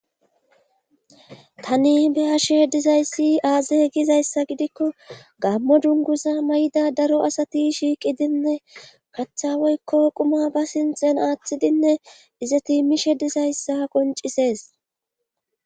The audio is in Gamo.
tani be ashe dizayssi aaze gizayssa gidikko gammo dunguza mayda daro asati shiiqidinne kaththa woykko quma ba sinxen aaththidinne iza tiimishe dizayssa qoncisees